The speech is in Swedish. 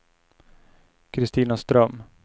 Christina Ström